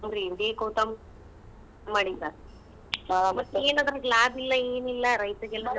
ಮಾಡಿದ್ದಾ. ಮತ್ ಏನ್ ಅದ್ರಾಗ ಲಾಬ್ ಇಲ್ಲ ಏನಿಲ್ಲ ರೈತ್ರಿಗೆಲ್ಲ.